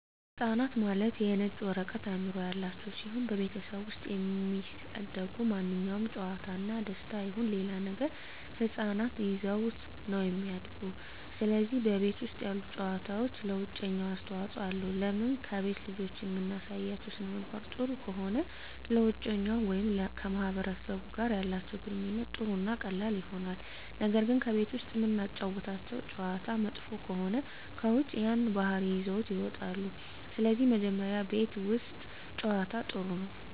ህፃናት ማለት የነጭ ወረቀት አዕምሮ ያላቸው ሲሆን በቤተሠብ ውስጥ የሚደሰጉ ማንኛውም ጨዋታ እና ደስታ ይሁን ሌላ ነገር ህፃናት ይዘውት ነው እሚድጉ ስለዚህ በቤት ውስጥ ያሉ ጨዋታዎች ለውጨኛው አስተዋፅኦ አለው ለምን ከቤት ልጆችን እምናሳያቸው ሥነምግባር ጥሩ ከሆነ ለውጨኛው ወይም ከማህበረሰቡ ጋር ያላቸው ግንኙነት ጥሩ እና ቀላል ይሆናል ነገር ግን ቤት ውስጥ እምናጫውታቸው ጨዋታ መጥፎ ከሆነ ከውጭ ያን ባህሪ ይዘውት ይወጣሉ ስለዚህ መጀመሪ ቤት ውስት ጨዋታ ጥሩ ነው